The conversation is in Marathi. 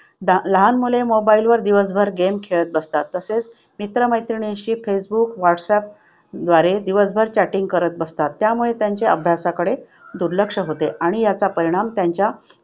लहान मुले mobile वर दिवसभर game खेळत बसतात. तसेच मित्र-मैत्रिणींशी फेसबुक व्हाट्सअपद्वारे दिवसभर chatting करत बसतात. त्यामुळे त्यांचे अभ्यासाकडे दुर्लक्ष होते आणि याचा परिणाम त्यांच्या